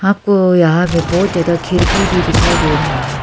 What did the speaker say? आपको यहां में बहुत ज्यादा खिड़की भी दिखाई दे रहा है।